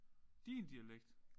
Din dialekt?